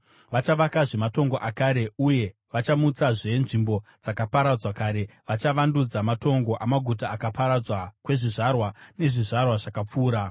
Vachavakazve matongo akare uye vachamutsazve nzvimbo dzakaparadzwa kare; vachavandudza matongo amaguta akaparadzwa kwezvizvarwa nezvizvarwa zvakapfuura.